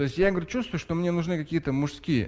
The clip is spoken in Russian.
то есть я говорю чувствую что мне нужны какие-то мужские